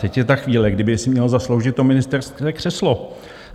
Teď je ta chvíle, kdyby si měl zasloužit to ministerské křeslo.